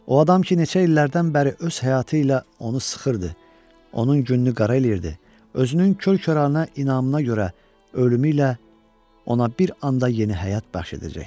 O adam ki neçə illərdən bəri öz həyatı ilə onu sıxırdı, onun gününü qara eləyirdi, özünün kör-könana inamına görə ölümü ilə ona bir anda yeni həyat bəxş edəcəkdi.